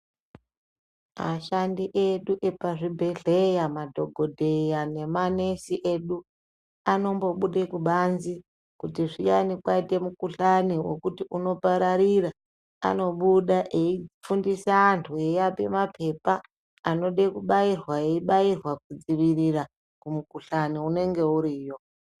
Ashandi edu epazvibhedhlera madhokodheya nemanesi edu anombobuda kubanze kuti zviyani kwaite mukhuhlani unopararira anobuda eifundise antu eivape maphepa, anode kubairwa eibairwa kudzivirira kumukhuhlani unenge uriyo.